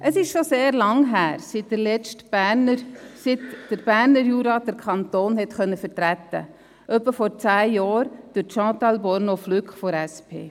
Es ist schon sehr lange her, seit der Berner Jura den Kanton vertreten konnte, nämlich vor ungefähr zehn Jahren durch Chantal Bornoz-Flück von der SP.